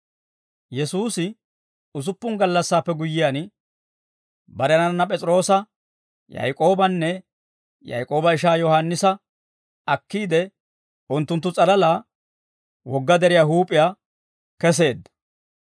Yesuusi usuppun gallassaappe guyyiyaan, barenanna P'es'iroosa, Yaak'oobanne, Yaak'ooba ishaa Yohaannisa akkiide, unttunttu s'alalaa wogga deriyaa huup'iyaa kesseedda.